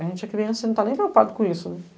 A gente é criança, você não tá nem preocupado com isso, né?